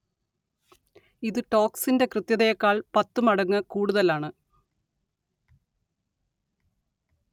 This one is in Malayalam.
ഇത് ടോർക്സിന്റെ കൃത്യതയേക്കാൾ പത്തു മടങ്ങ് കൂടുതലാണ്